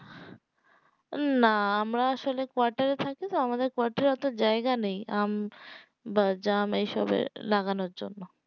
না আমরা আসলে quarter এ থাকি তো আমাদের quarter এ অতো জায়গা নেই আম বা জাম এইসব এ লাগানোর জন্য